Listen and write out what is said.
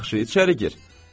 Yaxşı, içəri gir.